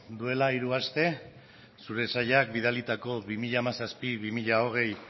duela hiru aste zure sailak bidalitako bi mila hamazazpi bi mila hogei